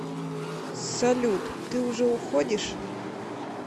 салют ты уже уходишь